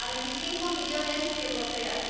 a 25 millones de europeas.